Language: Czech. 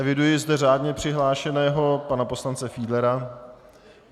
Eviduji zde řádně přihlášeného pana poslance Fiedlera.